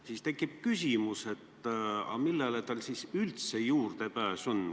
Siis tekib küsimus, millele tal üldse juurdepääs on.